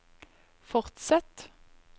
fortsett